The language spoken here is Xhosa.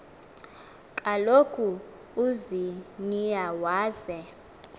kaloku uziniya weza